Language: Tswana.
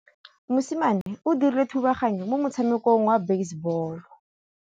Mosimane o dirile thubaganyô mo motshamekong wa basebôlô.